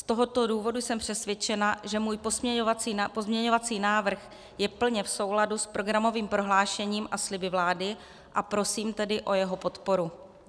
Z tohoto důvodu jsem přesvědčena, že můj pozměňovací návrh je plně v souladu s programovým prohlášením a sliby vlády, a prosím tedy o jeho podporu.